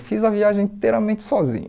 Eu fiz a viagem inteiramente sozinho.